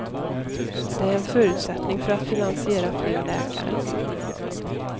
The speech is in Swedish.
Det är en förutsättning för att finansiera fler läkare.